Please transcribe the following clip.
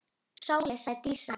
Sóley, sagði Dísa.